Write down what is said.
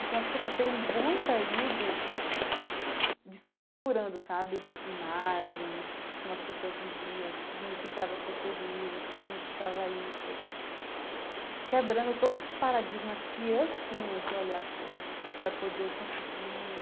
Então, acho que eu passei um bom período desconfigurando imagens de como as pessoas viviam, o que significava ser feliz, o que significava isso, quebrando todos os paradigmas que eu tinha de olhar as coisas para poder conseguir